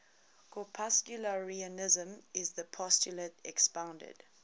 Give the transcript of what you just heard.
corpuscularianism is the postulate expounded